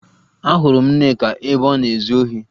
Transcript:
Ahụrụ m Nneka ebe ọ na-ezu ohi